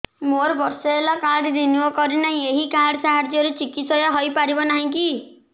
ମୋର ବର୍ଷେ ହେଲା କାର୍ଡ ରିନିଓ କରିନାହିଁ ଏହି କାର୍ଡ ସାହାଯ୍ୟରେ ଚିକିସୟା ହୈ ପାରିବନାହିଁ କି